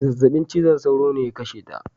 Zazzaɓin cizon sauro ne ya kashe ta.